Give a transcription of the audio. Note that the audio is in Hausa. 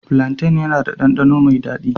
Flantain yana da ɗanɗano mai daɗi.